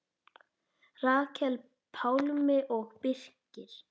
Rakel, Pálmi og Birkir.